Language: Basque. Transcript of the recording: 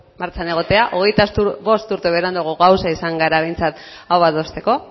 martxan egotea hogeita bost urte beranduago gauza izan gara behintzat hau adosteko